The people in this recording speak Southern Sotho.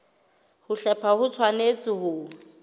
ho hlepha ho tshwanetse ho